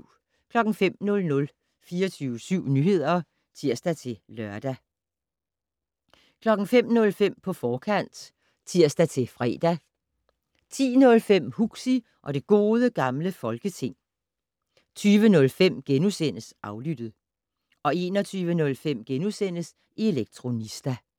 05:00: 24syv Nyheder (tir-lør) 05:05: På forkant (tir-fre) 10:05: Huxi og det Gode Gamle Folketing 20:05: Aflyttet * 21:05: Elektronista *